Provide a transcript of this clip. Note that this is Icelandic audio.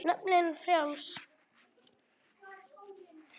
Naflinn frjáls.